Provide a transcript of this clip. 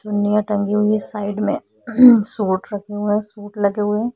चुन्नियाँ टंगी हुई साइड में सूट रखे हुए सूट लगे हुए--